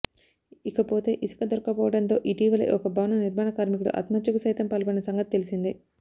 ఇకపోతే ఇసుకదొరక్కపోవడంతో ఇటీవలే ఒక భవన నిర్మాణ కార్మికుడు ఆత్మహత్యకు సైతం పాల్పడిన సంగతి తెలిసిందే